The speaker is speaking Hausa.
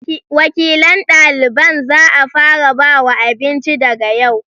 Wakilan ɗaliban za'a fara bawa abinci daga yau